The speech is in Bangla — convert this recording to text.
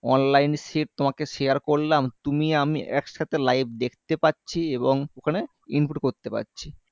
online sheet তোমাকে share করলাম তুমি আমি একসাথে live দেখতে পারছি এবং ওখানে input ও করতে পারছি